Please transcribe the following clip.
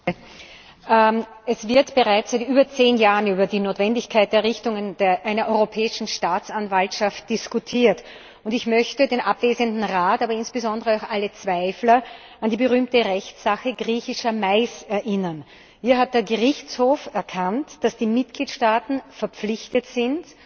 Frau Präsidentin! Es wird bereits seit über zehn Jahren über die Notwendigkeit der Errichtung einer Europäischen Staatsanwaltschaft diskutiert. Ich möchte den abwesenden Rat, aber insbesondere auch alle Zweifler an die berühmte Rechtssache Griechischer Mais erinnern. Hier hat der Gerichtshof erkannt, dass die Mitgliedstaaten verpflichtet sind,